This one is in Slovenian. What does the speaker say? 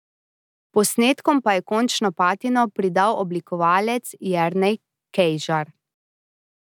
Posnetkom pa je končno patino pridal oblikovalec Jernej Kejžar.